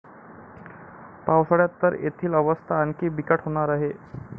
पावसाळ्यात तर तेथील अवस्था आणखी बिकट होणार आहे.